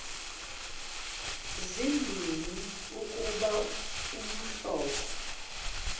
zimbini ukuba umhlobo